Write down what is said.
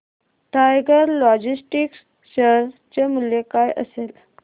tiger Logistics share चे मूल्य काय असेल